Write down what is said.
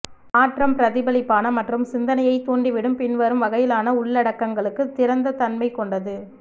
மாற்றம் பிரதிபலிப்பான மற்றும் சிந்தனையைத் தூண்டிவிடும் பின்வரும் வகையிலான உள்ளடக்கங்களுக்கு திறந்த தன்மை கொண்டது